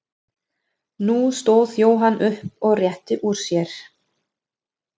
Nú stóð Jóhann upp og rétti úr sér.